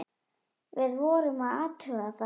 Við vorum að athuga það.